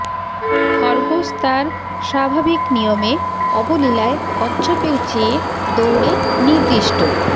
খরগোশ তার স্বাভাবিক নিয়মে অবলীলায় কচ্ছপের চেয়ে দৌড়ে নির্দিষ্ট